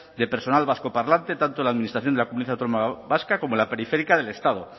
de personal vascoparlante tanto en la administración de la comunidad autónoma vasca como en la periférica del estado